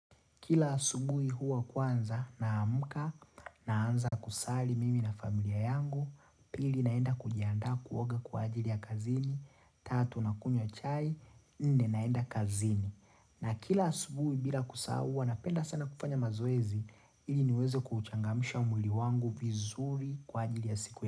Kila asubuhi huwa kwanza naamka na anza kusali mimi na familia yangu, pili naenda kujianda kuoga kwa ajili ya kazini, tatu na kunywa chai, nne naenda kazini. Na kila asubuhi bila kusahau huwa napenda sana kufanya mazoezi, ili niweze kuchangamsha mwili wangu vizuri kwa ajili ya siku ya.